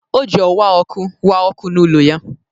O ji owa ọkụ wa ọkụ n'ụlọ ya.